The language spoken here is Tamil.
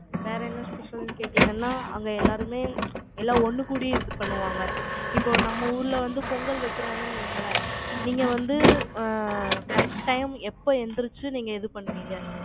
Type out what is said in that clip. வேற என்ன special ன்னு கேட்டீங்கன்னா, அங்க எல்லாருமே, எல்லாம் ஒண்ணுகூடி, இது பண்ணுவாங்க. இப்போ, நம்ம ஊர்ல வந்து, பொங்கல் வைக்கிறாங்கன்னு வையுங்களேன், நீங்க வந்து, அ, correct time எப்ப எந்திரிச்சு, நீங்க இது பண்ணுவீங்க